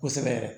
Kosɛbɛ yɛrɛ